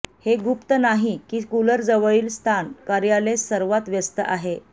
हे गुप्त नाही की कूलर जवळील स्थान कार्यालय सर्वात व्यस्त आहे